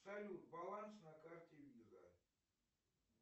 салют баланс на карте виза